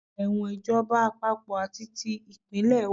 Ẹ̀wọ̀n ìjọba àpapọ̀ àti ti ìpínlẹ̀ wà.